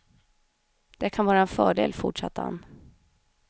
Det kan vara en fördel fortsatte han.